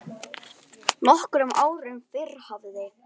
Nokkrum árum fyrr hafði